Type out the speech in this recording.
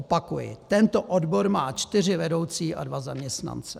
Opakuji: Tento odbor má čtyři vedoucí a dva zaměstnance.